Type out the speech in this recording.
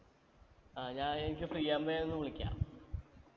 ആ ഞാൻ എനിക്ക് free ആവുമ്പേ ഒന്ന് വിളിക്കാ